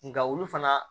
Nka olu fana